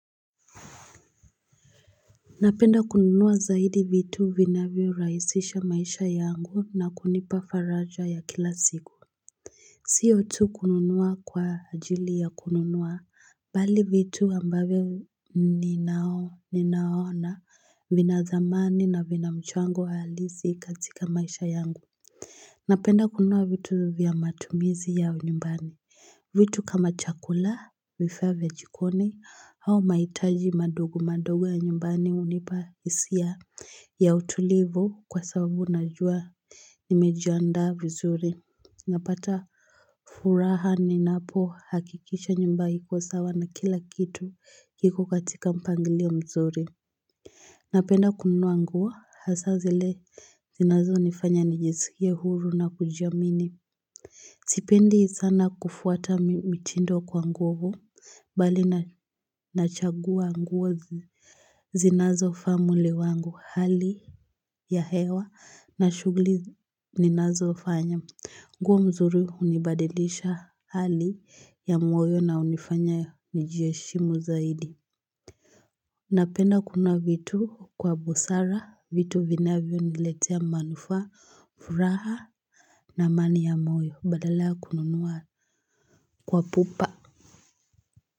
Napenda kununua zaidi vitu vinavyo rahisisha maisha yangu na kunipa faraja ya kila siku Sio tu kununua kwa ajili ya kununua Bali vitu ambavyo ninaona vina dhamani na vina mchango wa halisi katika maisha yangu Napenda kununua vitu vya matumizi ya nyumbani vitu kama chakula, vifaa vya jikoni, au mahitaji madogo madogo ya nyumbani hunipa hisia ya utulivu kwa sababu najua nimejiandaa vizuri. Napata furaha ni napo hakikisha nyumba iko sawa na kila kitu kiko katika mpangilio mzuri. Napenda kunua nguo hasa zile zinazo nifanya nijisikie huru na kujiamini. Sipendi sana kufuata mitindo kwa nguo huo, bali nachagua nguo zinazofaa mwili wangu hali ya hewa na shughli ninazofanya. Nguo mzuri hunibadilisha hali ya mwoyo na hunifanya nijiheshimu zaidi. Napenda kununua vitu kwa busara, vitu vinavyo niletea manufaq, furaha na amani ya moyo badala kununua kwa pupa.